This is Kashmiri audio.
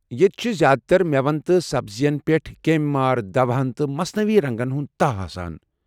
ییٚتہ چھِ زیٛادٕ تر مٮ۪وَن تہٕ سبزی یَن پیٹھ کیٚمۍ مار دوہَن تہٕ مصنٔوی رنٛگن ہُند تاہ آسان۔